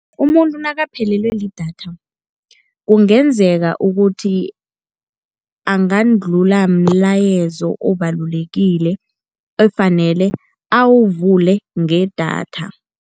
Umuntu nakaphelelwe lidatha kungenzeka ukuthi angadlulwa mlayezo obalulekile ekufanele awuvule ngedatha.